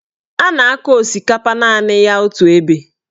A na-akọ osikapa naanị ya otu ebe.